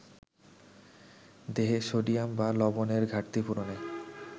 দেহে সোডিয়াম বা লবণেরঘাটতি পূরণে